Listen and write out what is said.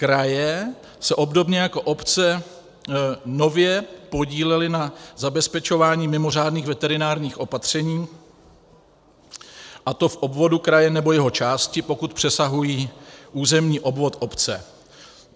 Kraje se obdobně jako obce nově podílely na zabezpečování mimořádných veterinárních opatření, a to v obvodu kraje nebo jeho části, pokud přesahují územní obvod obce.